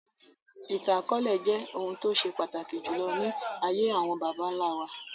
Ìtàn akọọlẹ jẹ́ ohun tó ṣe pàtàkì jùlọ ní ayé àwọn bàbá nlá wa